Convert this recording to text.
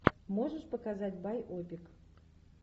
можешь показать байопик